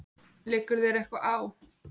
Liggur þér eitthvað á?